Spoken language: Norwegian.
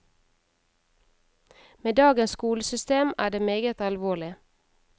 Med dagens skolesystem er det meget alvorlig.